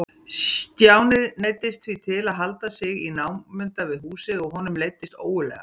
Stjáni neyddist því til að halda sig í námunda við húsið og honum leiddist ógurlega.